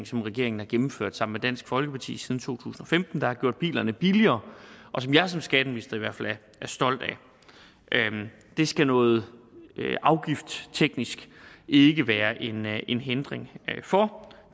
som regeringen har gennemført sammen med dansk folkeparti siden to tusind og femten der har gjort bilerne billigere og som jeg som skatteminister i hvert fald er stolt af det skal noget afgiftteknisk ikke være en være en hindring for